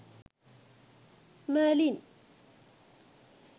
merlin